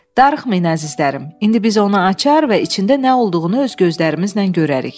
"Darıxmayın əzizlərim, indi biz onu açar və içində nə olduğunu öz gözlərimizlə görərik."